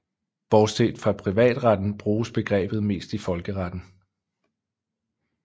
Bortset fra privatretten bruges begrebet mest i folkeretten